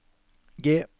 G